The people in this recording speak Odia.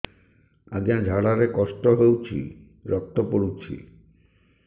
ଅଜ୍ଞା ଝାଡା ରେ କଷ୍ଟ ହଉଚି ରକ୍ତ ପଡୁଛି